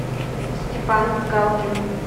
степан галкин